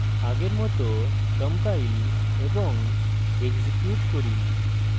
আগের মত compile এবং execute করি